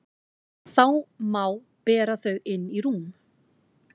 Þá má bera þau inn í rúm.